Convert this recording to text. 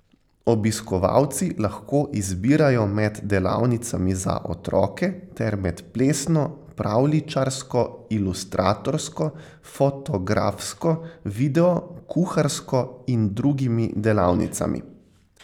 Obiskovalci lahko izbirajo med delavnicami za otroke ter med plesno, pravljičarsko, ilustratorsko, fotografsko, video, kuharsko in drugimi delavnicami.